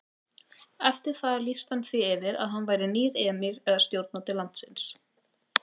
Eftir það lýsti hann því yfir að hann væri nýr emír eða stjórnandi landsins.